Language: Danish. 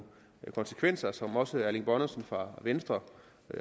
konsekvenser som også herre erling bonnesen fra venstre